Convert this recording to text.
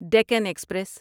Deccan express